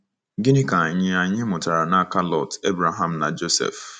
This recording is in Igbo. Gịnị ka anyị anyị mụtara n'aka Lọt, Ebreham, na Josef?